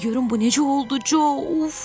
De görüm bu necə oldu Co!